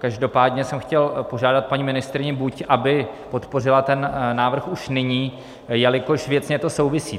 Každopádně jsem chtěl požádat paní ministryni, buď aby podpořila ten návrh už nyní, jelikož věcně to souvisí.